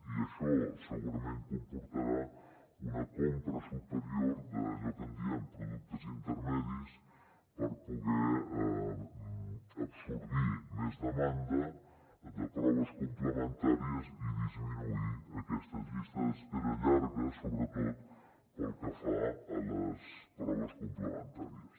i això segurament comportarà una compra superior d’allò que en diem productes intermedis per poder absorbir més demanda de proves complementàries i disminuir aquestes llistes d’espera llargues sobretot pel que fa a les proves complementàries